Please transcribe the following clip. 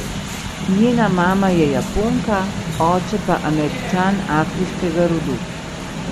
Njena mama je Japonka, oče pa Američan afriškega rodu.